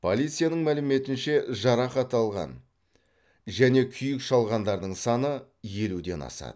полицияның мәліметінше жарақат алған және күйік шалғандардың саны елуден асады